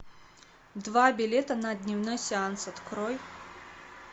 два билета на дневной сеанс открой